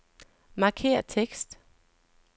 Markér tekst.